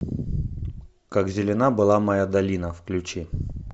как зелена была моя долина включи